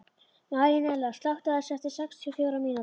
Marínella, slökktu á þessu eftir sextíu og fjórar mínútur.